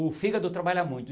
O fígado trabalha muito.